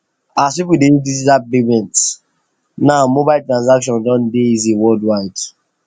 as people dey use digital payment now mobile transactions don easy worldwide